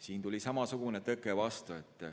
Siin tuli samasugune tõke vastu.